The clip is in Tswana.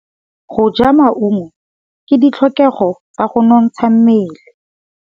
Go ja maungo ke ditlhokegô tsa go nontsha mmele.